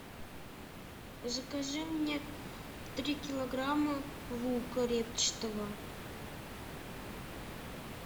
закажи мне три килограмма лука репчатого